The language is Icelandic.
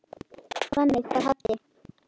Þannig var Haddi.